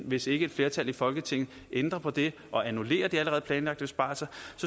hvis ikke et flertal i folketinget ændrer på det og annullerer de allerede planlagte besparelser